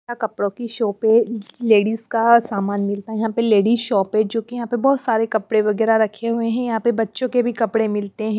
कपड़ों की शॉप पे लेडीज का सामान मिलता है यहां पे लेडीज शॉप है जो कि यहां पे बहुत सारे कपड़े वगैरह रखे हुए हैं यहां पे बच्चों के भी कपड़े मिलते हैं।